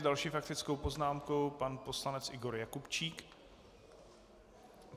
S další faktickou poznámkou pan poslanec Igor Jakubčík.